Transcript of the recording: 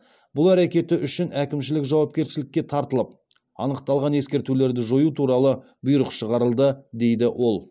бұл әрекеті үшін әкімшілік жауапкершілікке тартылып анықталған ескертулерді жою туралы бұйрық шығарылды дейді ол